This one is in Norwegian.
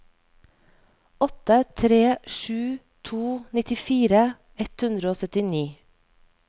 åtte tre sju to nittifire ett hundre og syttini